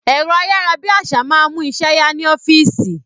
Ẹ̀rọ ayárabíàṣá máa ń mú iṣẹ́ ya ni ọ́fíìsì